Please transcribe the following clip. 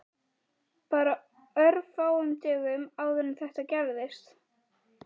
Björn Ingi Hrafnsson: Bara örfáum dögum áður en þetta gerðist?